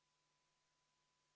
Palun tuua hääletamiskast saali!